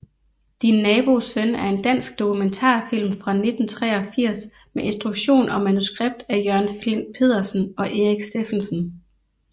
Din nabos søn er en dansk dokumentarfilm fra 1983 med instruktion og manuskript af Jørgen Flindt Pedersen og Erik Stephensen